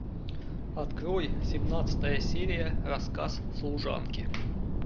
открой семнадцатая серия рассказ служанки